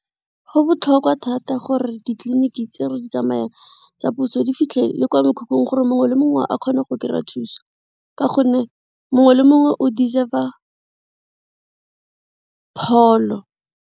Go botlhokwa thata gore ditleliniki tse re di tsamayang tsa puso di fitlhe le kwa mekhukhung gore mongwe le mongwe a kgone go kry-a thuso ka gonne mongwe le mongwe o deserve-a pholo.